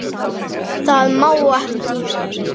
Má það ekki?